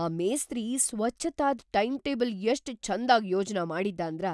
ಆ ಮೇಸ್ತ್ರಿ ಸ್ವಚ್ಛತಾದ್‌ ಟೈಂಟೇಬಲ್ ಎಷ್ಟ್ ಛಂದಾಗ್ ಯೋಜ್ನ ಮಾಡಿದ್ದಾಂದ್ರ